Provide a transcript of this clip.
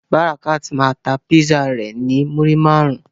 Barakat ma ta Písà rẹ ni naira muri márùn.